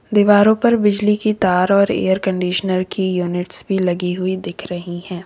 दीवारों पर बिजली की तार और एयर कंडीशनर की यूनिट्स भी लगी हुई दिख रही है।